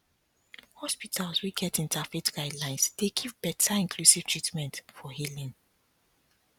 hospitals wey get interfaith guidelines dey give better inclusive treatment for healing